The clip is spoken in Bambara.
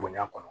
Bonɲa kɔnɔ